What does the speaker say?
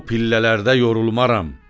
Bu pillələrdə yorulmaram.